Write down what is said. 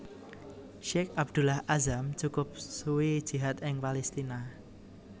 Syeikh Abdullah Azzam cukup suwi jihad ing Palestina